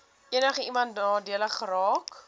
enigiemand nadelig geraak